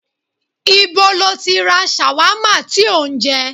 Ìbo lọ tí ra ṣàwámà tí ó ń jẹ?